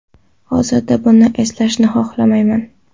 Hozir buni eslashni xohlamayman.